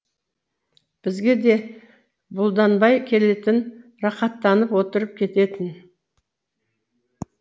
бізге де бұлданбай келетін рақаттанып отырып кететін